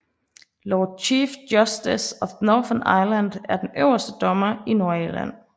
Lord Chief Justice of Northern Ireland er den øverste dommer i Nordirland